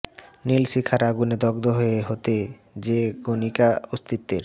নীল শিখার আগুনে দগ্ধ হতে হতে যে গণিকা অস্তিত্বের